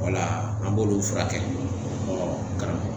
Wala an b'olu furakɛ karamɔgɔ